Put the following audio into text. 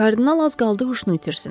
Kardinal az qaldı huşunu itirsin.